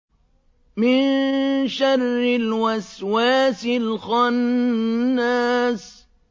مِن شَرِّ الْوَسْوَاسِ الْخَنَّاسِ